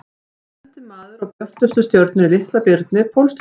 Þá lendir maður á björtustu stjörnunni í Litla-birni, Pólstjörnunni.